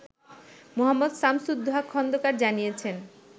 মো. শামসুদ্দোহা খন্দকার জানিয়েছেন